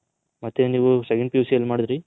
ಮತ್ತೆ ನೀವು second PUC ಎಲ್ಲಿ ಮಾಡದ್ರಿ.